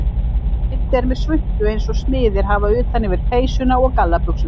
Kiddi er með svuntu eins og smiðir hafa utan yfir peysuna og gallabuxurnar.